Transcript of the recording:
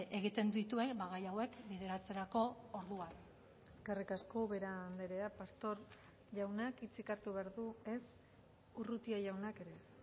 egiten dituen gai hauek bideratzerako orduan eskerrik asko ubera andrea pastor jaunak hitzik hartu behar du ez urrutia jaunak ere ez